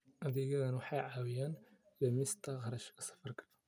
Adeegyadani waxay caawiyaan dhimista kharashka safarka.